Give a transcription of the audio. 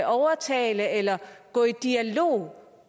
overtale eller gå i dialog